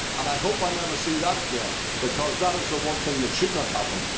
I hope I never see that again because that is the one thing that should not happen.